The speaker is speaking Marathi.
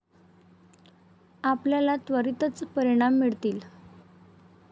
आपल्याला त्वरितच परिणाम मिळतील.